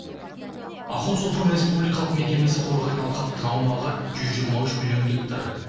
охотзоопром республикалық мекемесі қорғайтын алқаптың аумағы жүз жиырма үш миллион гектар